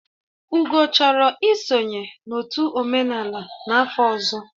Ugo chọrọ isonye n'otu omenala n'afọ ọzọ